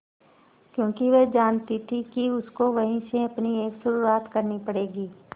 क्योंकि वह जानती थी कि उसको वहीं से अपनी एक शुरुआत करनी पड़ेगी